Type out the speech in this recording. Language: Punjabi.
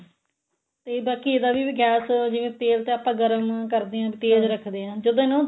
ਤੇ ਬਾਕੀ ਇਹਦਾ ਵੀ gas ਜਿਵੇਂ ਤੇਲ ਤੇ ਆਪਾਂ ਗਰਮ ਕਰਦੇ ਆ ਤੇਜ ਰਖਦੇ ਆਂ ਜਦੋਂ ਇਹਨੂੰ